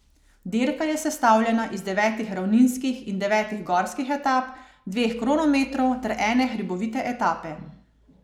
Dirka je sestavljena iz devetih ravninskih in devetih gorskih etap, dveh kronometrov ter ene hribovite etape.